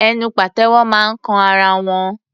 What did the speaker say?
Ẹnu pàtẹ́wọ́ máa ń kan ara wọn.